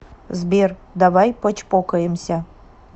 сбер давай почпокаемся